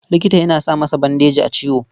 Likita yana sa masa bandeji a ciwo.